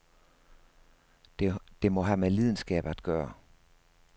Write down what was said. Det må have med lidenskab at gøre.